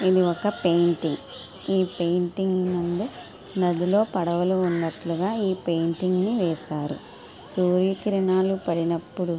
ఇది okay painting . ఈ painting ముందు నదిలో పెయింటింగ్ ని వేశారు. సూర్య కిరణాలూ పాడినప్పుడు--